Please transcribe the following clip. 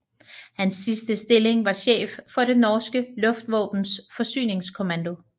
Hans sidste stilling var chef for det norske luftvåbens forsyningskommando